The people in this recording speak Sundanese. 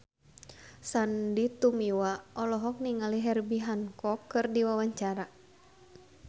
Sandy Tumiwa olohok ningali Herbie Hancock keur diwawancara